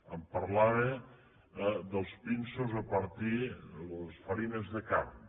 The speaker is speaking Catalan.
em parlava dels pinsos a partir de les farines de carn